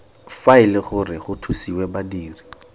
faele gore go thusiwe badiri